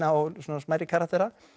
og svona smærri karaktera